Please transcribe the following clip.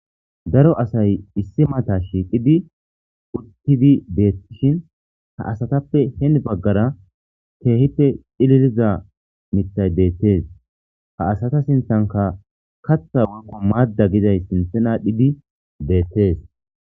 Daro asay issi mata shiiqidi uttidi deettishin ha asatappe heen baggara keehippe dhililiza mitay deettees ha asata sinthanka kaththa woykko maadda giday sinthena dhidi deettees.